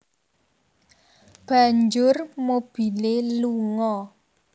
Banjur mobilé lunga